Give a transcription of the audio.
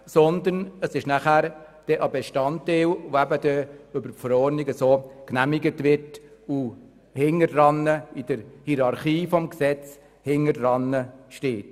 Sie ist stattdessen nachher ein Bestandteil, der über die Verordnung so genehmigt wird und in der Hierarchie hinter dem Gesetz steht.